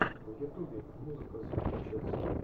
в ютубе музыка зомби чез